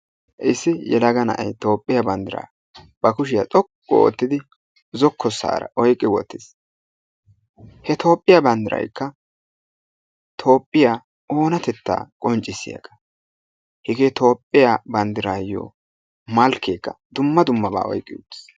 Issi yelaga na'ay Toophphiya banddiraa ba kushiya xoqqu oottidi zokkosaara oyqqi wottiis, he toophphiya banddiraykka Toophphiya oonatetta qonccissiyagaa. Hegee Toophphiya bandrayo malkkeekka dumma dummabaa oyqqi uttiis.